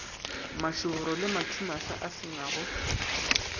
mašoboro le mathumaša a senago